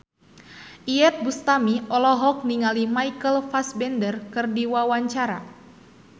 Iyeth Bustami olohok ningali Michael Fassbender keur diwawancara